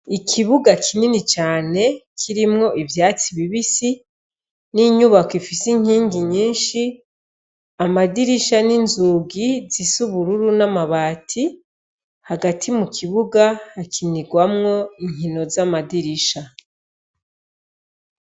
Ikibuga kinini cane kirimwo ivyatsi bibisi n'inyubako ifise inkingi nyinshi, amadirisha n'inzugi zisa ubururu n'amabati, hagati mu kibuga hakinirwamwo inkino z'amadirisha.